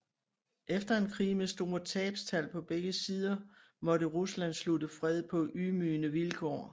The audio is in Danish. Efter en krig med store tabstal på begge sider måtte Rusland slutte fred på ydmygende vilkår